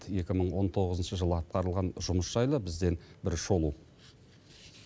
екі мың он тоғызыншы жылы атқарылған жұмыс жайлы бізден бір шолу